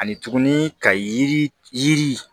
Ani tuguni ka yiri yiri